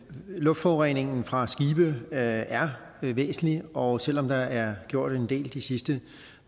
luftforureningen fra skibe er er væsentlig og selv om der er gjort en del de sidste